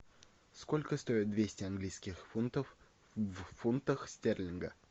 сколько стоит двести английских фунтов в фунтах стерлинга